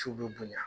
Ciw bɛ bonya